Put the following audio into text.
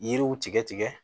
Yiriw tigɛ tigɛ